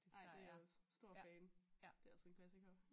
Ej det jeg også stor fan. det altså en klassiker